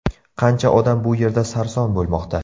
Qancha odam bu yerda sarson bo‘lmoqda.